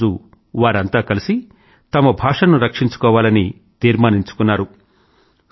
ఒకరోజు వారంతా కలిసి తమ భాషను రక్షించుకోవాలని తీర్మానించుకున్నారు